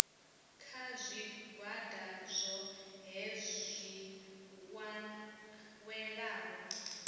kha zwigwada zwohe zwi welaho